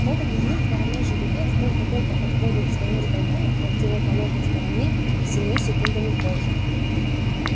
в этот момент вороной жеребец только-только подходит к своему столбу на противоположной стороне семью секундами позже